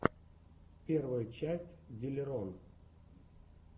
первая часть диллерон